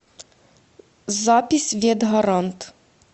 запись ветгарант